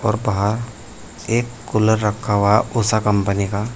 और बाहर एक कूलर रखा हुआ उषा कंपनी का।